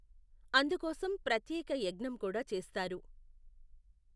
అందుకోసం ప్రత్యేక యజ్ఞం కూడా చేస్తారు.